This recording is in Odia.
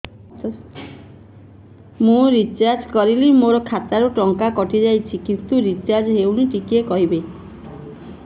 ମୁ ରିଚାର୍ଜ କରିଲି ମୋର ଖାତା ରୁ ଟଙ୍କା କଟି ଯାଇଛି କିନ୍ତୁ ରିଚାର୍ଜ ହେଇନି ଟିକେ କହିବେ